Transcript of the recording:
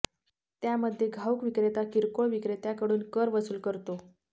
त्यामध्ये घाऊक विक्रेता किरकोळ विक्रेत्याकडून कर वसूल करतो